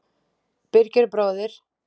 Birgir bróðir.